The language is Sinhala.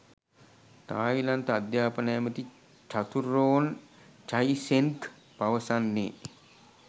තායිලන්ත අධ්‍යාපන ඇමති චතුරෝන් චයිසෙන්ග් පවසන්නේ